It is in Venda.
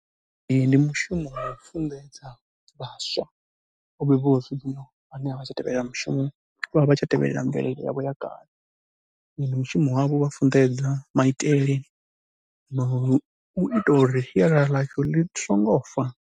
Ee, ndi mushumo wa u funḓedza vhaswa u vhuya u swika hune a vha tshi tevhelela mushumo, vha vha tshi tevhelela mvelele yavho ya kale. Ndi mushumo wavho u vha funḓedza maitele na u ita uri sialala ḽashu ḽi songo fa.